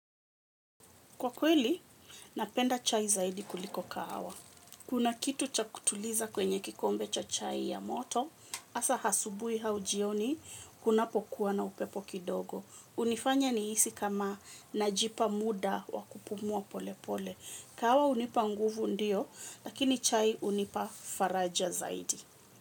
Kwa kweli napenda chai zaidi kuliko kahawa kuna kitu cha kutuliza kwenye kikombe cha chai ya moto, hasa asubuhi au jioni, kunapokuwa na upepo kidogo. Hunifanya nihisi kama najipa muda wa kupumua pole pole. Kahawa hunipa nguvu ndio, lakini chai hunipa faraja zaidi.